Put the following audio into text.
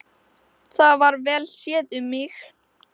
Það var vel séð um mig.